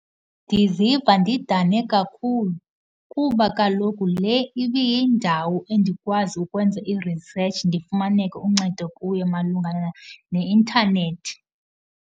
Ndiziva ndidane kakhulu kuba kaloku le ibiyindawo endikwazi ukwenza i-research ndifumaneke uncedo kuyo malungana ne-intanethi.